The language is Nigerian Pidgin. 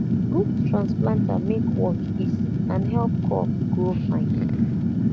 good transplanter make work easy and help crop grow fine